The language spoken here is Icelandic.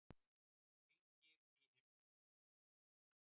Hringir í himninum.